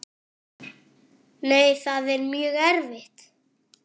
Nei, það er mjög erfitt.